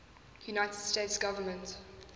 united states government